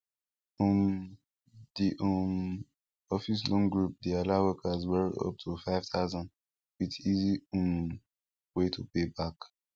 um d um office loan group de allow workers borrow up to five thousand with easy um way to pay back